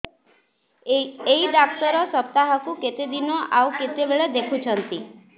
ଏଇ ଡ଼ାକ୍ତର ସପ୍ତାହକୁ କେତେଦିନ ଆଉ କେତେବେଳେ ଦେଖୁଛନ୍ତି